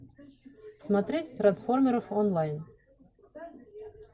смотреть трансформеров онлайн